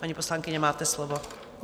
Paní poslankyně, máte slovo.